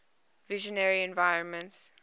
visionary environments